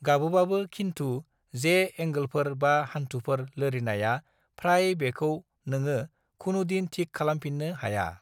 गाबोबाबो खिन्थु जे ऐंगोलफोर बा हान्थुफोर लोरिनाया फ्राय बेखौ नोङो खुनुदिन थिक खालामफिननो हाया।